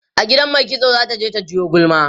a gidan maikitso zata je ta jiwo gulma